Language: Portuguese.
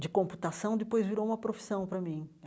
de computação, depois virou uma profissão para mim.